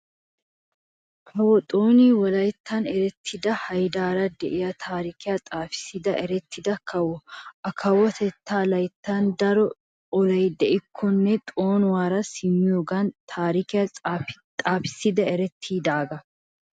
Kawo xooni wolayttan eretida hayddara de'iyaa taarikiyaa xaafissida eretida kawo. A kawotetaa layttan daro olay de'ikkonne xoonuwaara simmiyoogan taarikiyaa xaafissiyoogan eretidaagaa.